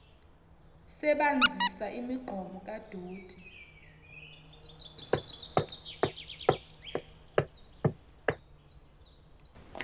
sebanzisa imigqomo kadoti